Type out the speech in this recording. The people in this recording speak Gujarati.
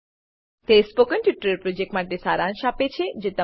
તે સ્પોકન ટ્યુટોરીયલ પ્રોજેક્ટનો સારાંશ આપે છે